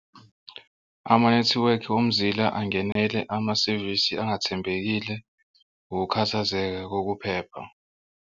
Amanethiwekhi womzila angenele amasevisi angathembekile ukukhathazeka kokuphepha.